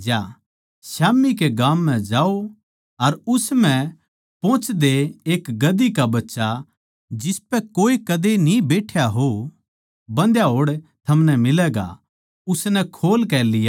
स्याम्ही के गाम म्ह जाओ अर उस म्ह पोहोचदये एक गधी का बच्चा जिसपै कोए कदे न्ही बैठ्या हो बन्धया होड़ थमनै मिलैगा उसनै खोल कै लियाओ